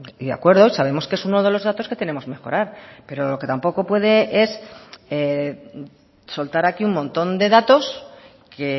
y de acuerdo sabemos que es uno de los datos que tenemos mejorar pero lo que tampoco puede es soltar aquí un montón de datos que